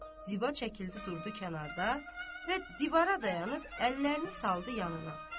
Ziba çəkildi durdu kənarda və divara dayanıb əllərini saldı yanına.